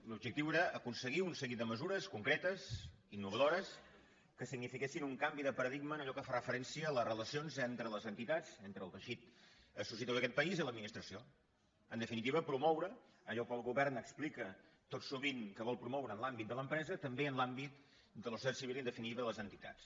l’objectiu era aconseguir un seguit de mesures concretes i innovadores que signifiquessin un canvi de paradigma en allò que fa referència a les relacions entre les entitats entre el teixit associatiu d’aquest país i l’administració en definitiva promoure allò que el govern explica tot sovint que vol promoure en l’àmbit de l’empresa també en l’àmbit de la societat civil i en definitiva de les entitats